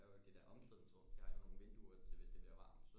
Der er jo det der omklædningsrum de har jo nogle vinduer til hvis det bliver varmt